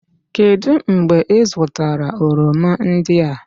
Kedụ mgbe ị zụtara oroma ndị a?